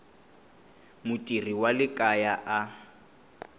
mutirhi wa le kaya a